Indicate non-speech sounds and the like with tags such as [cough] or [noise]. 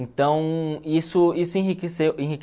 Então, isso isso enriqueceu [unintelligible]